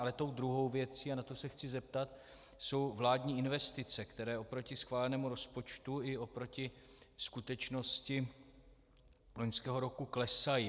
Ale tou druhou věcí, a na to se chci zeptat, jsou vládní investice, které oproti schválenému rozpočtu i oproti skutečnosti loňského roku klesají.